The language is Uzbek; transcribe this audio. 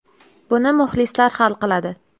Buni muxlislar hal qiladi.